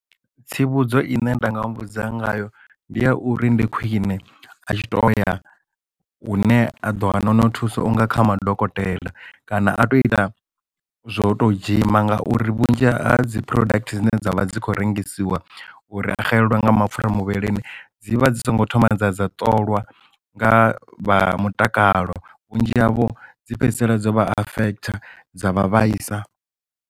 Tsivhudzo ine nda nga muvhudza ngayo ndi ya uri ndi khwine a tshi to ya u ne a ḓo wana hone thusa unga kha madokotela kana a to ita zwo to dzhima ngauri vhunzhi ha dzi product dzine dzavha dzi kho rengisiwa uri a xelelwa nga mapfhura muvhilini dzivha dzi songo thoma dza dza ṱolwa nga vha mutakalo vhunzhi havho dzi fhedzisela dzo vha affect dza vha vhaisa.